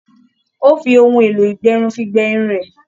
Ó fi ohun èlò ìgbẹrun fi gbẹ irun rẹ̀.